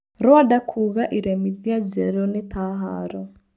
Rwanda kuuga iremithĩa njerũnĩ ta haro.